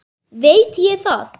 Veit ég það.